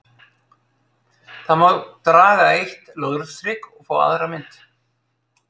Þá má draga eitt lóðrétt strik og fá aðra mynd: